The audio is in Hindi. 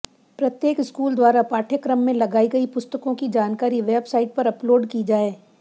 प्रत्येक स्कूल द्वारा पाठ्यक्रम में लगाई गई पुस्तकों की जानकारी वेबसाइट पर अपलोड की जाए